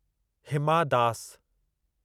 Hima Das